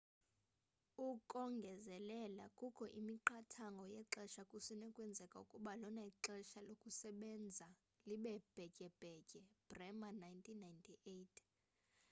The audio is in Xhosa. ukongezelela kukho imiqathango yexesha kusenokwenzeka ukuba lona ixesha lokusebenza libe bhetyebhetye. bremer 1998